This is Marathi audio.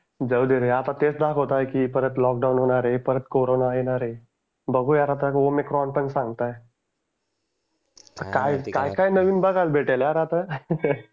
जाऊ दे रे आता दाखवत आहेत की परत लॉकडाउन होणार आहे परत कोरोंना येणार आहे. बघू यार आता ओमिक्रोन पण सांगताय. आता काय काय काय नवीन बघायला भेटेल यार आता